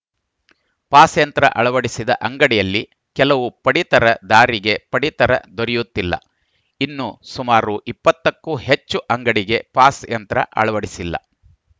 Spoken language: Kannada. ಪಾಸ್‌ ಯಂತ್ರ ಅಳವಡಿಸದ ಅಂಗಡಿಯಲ್ಲಿ ಕೆಲವು ಪಡಿತರದಾರಿಗೆ ಪಡಿತರ ದೊರೆಯುತ್ತಿಲ್ಲ ಇನ್ನು ಸುಮಾರು ಇಪ್ಪತ್ತ ಕ್ಕೂ ಹೆಚ್ಚು ಅಂಗಡಿಗೆ ಪಾಸ್‌ ಯಂತ್ರ ಅಳವಡಿಸಿಲ್ಲ